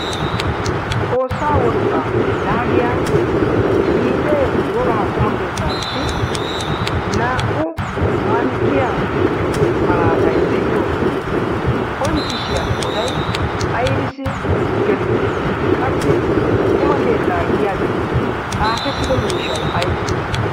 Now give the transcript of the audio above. xoossaa wolqqaa yaagiya lidee wogaha quma keettaapi naa77u mankkiya malaatai de7iyo qoncciisshiya eqotai aibisi gelide qassi quma keettaa giyaagee xaafettido miishshai aibee